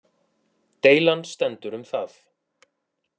Deilan stendur um það